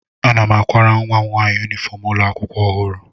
Ana m akwara nwa m nwaanyị yunifọm ụlọ akwụkwọ ọhụrụ